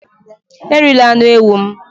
Erila anụ ewu m!